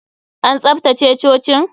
An tsaftace cocin?